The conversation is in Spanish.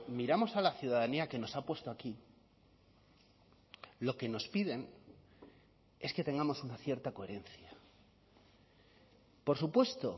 miramos a la ciudadanía que nos ha puesto aquí lo que nos piden es que tengamos una cierta coherencia por supuesto